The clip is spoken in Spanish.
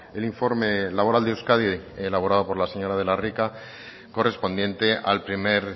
el informe laboral de euskadi elaborado por la señora de la rica correspondiente al primer